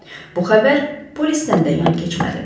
Bu xəbər polislə də yan keçmədi.